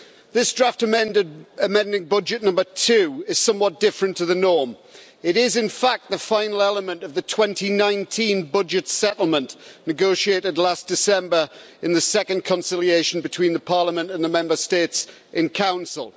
This draft amending budget No 2 is somewhat different to the norm. It is in fact the final element of the 2019 budget settlement, negotiated last December in the second conciliation between Parliament and the Member States in Council.